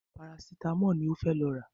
Parasítámọ̀ ni ó fẹ́ lọ rà